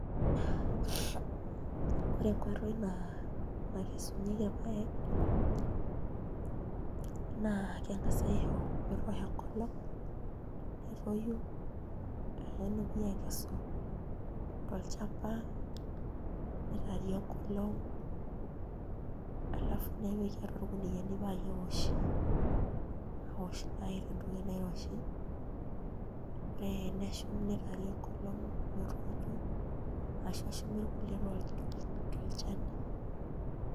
Ore nkoitoi nakesunyieki irpaek naa keng'as aisho metoosho enkolong' netoyu nepuoi aakesu tolchamba nitaari enkolong' alafu nepiki atua irkuniyiani paa keoshi aaosh irpaek tentoki nairoshi ore nishum nitaari enkolong' metoito ashu eshumi irkulie tolchani.